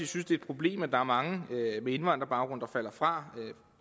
synes det er et problem at der er mange med indvandrerbaggrund der falder fra